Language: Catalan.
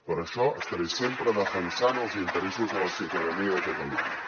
per això estaré sempre defensant els interessos de la ciutadania de catalunya